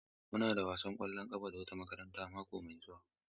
Muna da wani wasan ƙwallon ƙafa da wata makaranta mako mai zuwa.